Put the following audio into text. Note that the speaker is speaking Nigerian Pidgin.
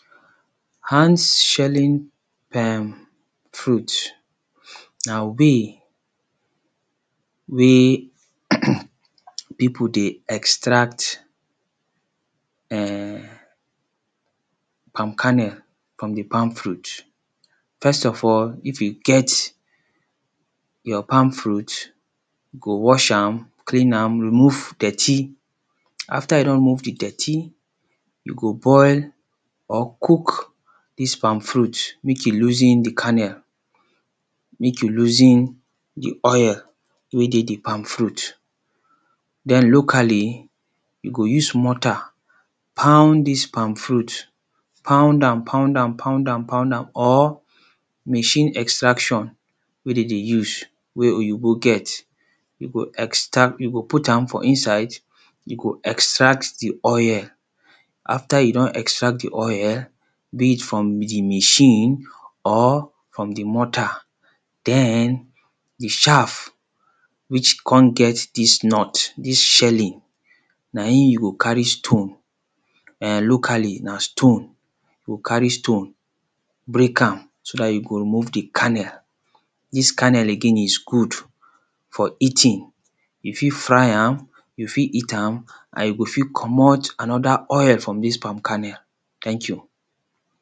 Hands shelling emmm fruits na way wey people dey extract em palm kernel from the palm fruit. First of all if you get your palm fruit you go wash am clean am remove dirty. After you don remove the dirty, you go boil or cook this palm fruit make you loosen the kernel make you loosen the oil wey dey the palm fruit Then locally you go use mortar pound this palm fruit pound am pound am pound am pound am or machine extraction wey de dey use wey oyibo get you go extra you go put am for inside you go extract the oil. After you don extract the oil, being it from the machine or from the mortar Then the shaf which come get this nut, this shelling na im you go carry stone Em locally na stone go carry stone break am so that you go remove the kernel. This kernel again is good for eating. You fit fry am, you fit eat am and you go fit comot another oil from this palm kernel. Thank you